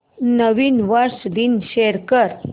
नवीन वर्ष दिवस शो कर